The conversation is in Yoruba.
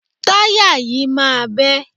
Táyà yìí máa bẹ́.